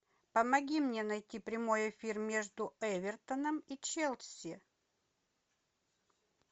помоги мне найти прямой эфир между эвертоном и челси